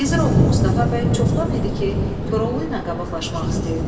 Gizir oğlu Mustafa bəy çoxdan idi ki, Koroğlu ilə qabaqlaşmaq istəyirdi.